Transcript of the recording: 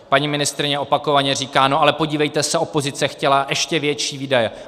Paní ministryně opakovaně říká - no ale podívejte se, opozice chtěla ještě větší výdaje...